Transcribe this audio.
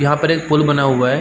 यहाँ पर एक पुल बना हुआ है।